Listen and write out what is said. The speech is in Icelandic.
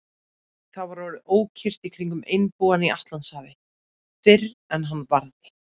Það var orðið ókyrrt í kringum einbúann í Atlantshafi, fyrr en hann varði.